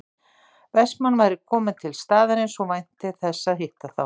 Vestmann væri kominn til staðarins og vænti þess að hitta þá